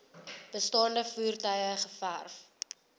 bestaande voertuie geërf